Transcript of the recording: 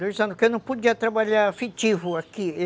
Dois anos, porque eu não podia trabalhar afetivo aqui.